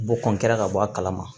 Bɔ ka bɔ a kalama